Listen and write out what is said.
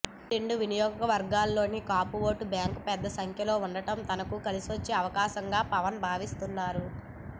రెండు నియోజకవర్గాల్లోనూ Kapu vote bank పెద్ద సంఖ్యలో ఉండటం తనకు కలిసొచ్చే అంశంగా పవన్ భావిస్తున్నారు